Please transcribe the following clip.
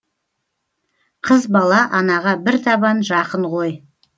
қыз бала анаға бір табан жақын ғой